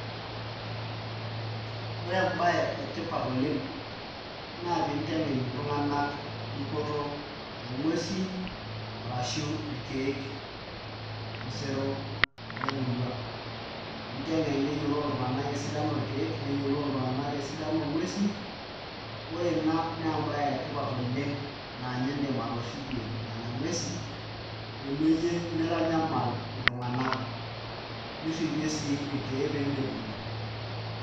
Ore embaye etipat oleng' naa pee intengen iltunganak dupoto onguesi ashu irkeek tosero lemurua ninteng'en neyiolou iltunganak esidano orkeek, neyiolou iltunganak esidano onguesi ore ina naa embaye etipat oleng' naa ninye iidim atorripie nena nguesi peyie mitanyamal iltunganak, nirripie sii irkeek pee medung'i.